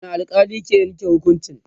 wani alkali ke Yanke hukuncin?